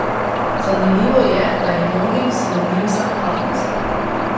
Zanimivo je, da je mnogim sinonim za hladnost.